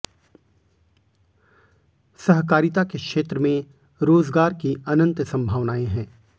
सहकारिता के क्षेत्र में रोजगार की अनंत संभावनाएँ हैं